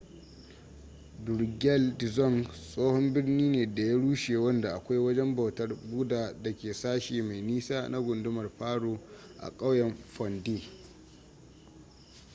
drukgyal dzong tsohon birni ne da ya rushe wanda akwai wajen bautar buddha da ke sashi mai nisa na gundumar paro a ƙauyen phondey